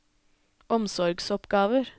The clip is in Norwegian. omsorgsoppgaver